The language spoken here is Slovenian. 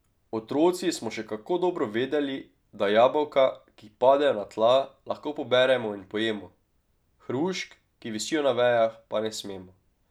Otroci smo še kako dobro vedeli, da jabolka, ki padejo na tla, lahko poberemo in pojemo, hrušk, ki visijo na vejah, pa ne smemo.